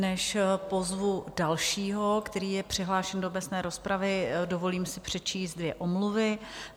Než pozvu dalšího, který je přihlášen do obecné rozpravy, dovolím si přečíst dvě omluvy.